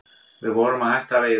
Við vorum að hætta að veiða